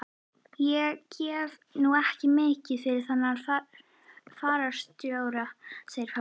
Ég gef nú ekki mikið fyrir þennan fararstjóra, segir pabbi.